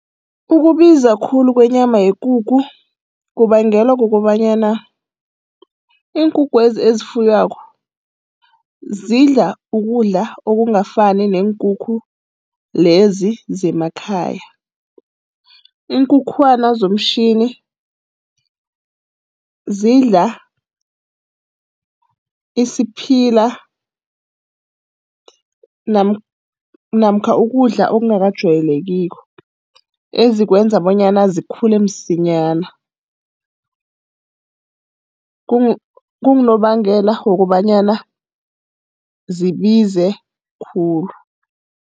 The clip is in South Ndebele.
Ukubiza khulu kwenyama yekukhu kubangelwa kukobanyana iinkukhwezi ezifuywako zidla ukudla okungafani neenkukhu lezi zemakhaya. Iinkukhwana zomtjhini zidla isiphila namkha ukudla okungakajayelekiko, ezikwenza bonyana zikhule msinyana. Kungunobangela wokobanyana zibize khulu.